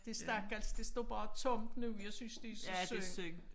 Det stakkels det står bare tomt nu jeg synes det så synd